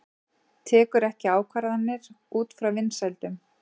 Tekur ekki ákvarðanir út frá vinsældum